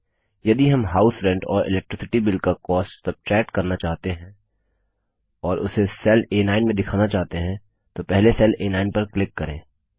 यदि हम house rent और इलेक्ट्रिसिटी बिल का कॉस्ट सब्ट्रैक्ट करना चाहते हैं और उसे सेल आ9 में दिखाना चाहते हैं तो पहले सेल आ9 पर क्लिक करें